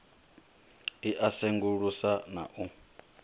i a sengulusa na u